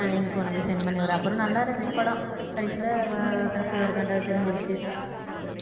ஆஹ் link உனக்கு send பண்ணிவிடுறேன் அப்புறம் நல்லா இருந்துச்சு படம் கடைசியில ஆஹ் அவ conceive ஆ இருக்கான்றது தெரிஞ்சிருச்சு